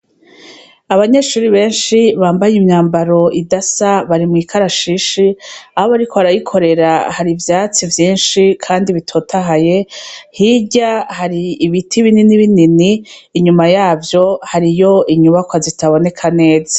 Abanyeshure benshi bambaye imyambaro idasa, bari mw'ikarashishi. Aho bariko barayikorera hari ivyatsi vyinshi kandi bitotahaye, hirya hari ibiti binini binini, inyuma yavyo hariyo inyubakwa zitaboneka neza.